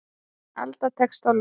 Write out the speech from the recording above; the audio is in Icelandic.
Alda tekst á loft.